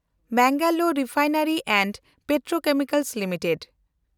Mangalore refinery and petrochemicals limited